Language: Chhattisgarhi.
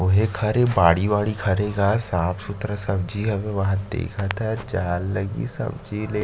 ओहे क हरे बाड़ी वाड़ी क हरे गा साफ सुथरा सब्जी हवे वहाद देखत हस जाए ल लगही सब्जी ले --